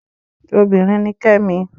Obinrin ni Kẹ́mi